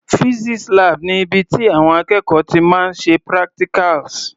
Physics lab ni ibi tí àwọn akẹ́kọ̀ọ́ ti máa ń ṣe practicals.